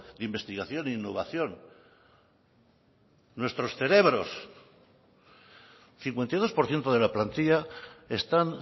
de investigación e innovación nuestros cerebros cincuenta y dos por ciento de la plantilla están